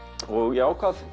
ég ákvað